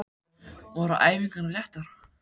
Voru æfingarnar réttar?